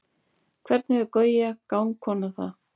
hvernig hefur gauja gangkona það